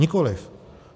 Nikoliv.